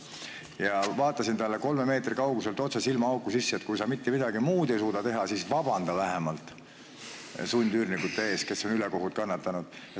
Ma vaatasin talle kolme meetri kauguselt otse silmaauku ja ütlesin, et kui sa mitte midagi muud ei suuda teha, siis vähemalt vabanda sundüürnike ees, kes on ülekohut kannatanud.